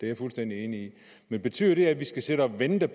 jeg fuldstændig enig i men betyder det at vi skal sidde og vente